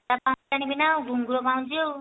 ମୋଟା ପାଉଁଜି ଆଣିବିନା ଘୁଙ୍ଗୁର ପାଉଁଜି